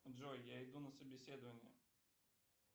джой я иду на собеседование